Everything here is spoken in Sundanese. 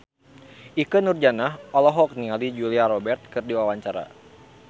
Ikke Nurjanah olohok ningali Julia Robert keur diwawancara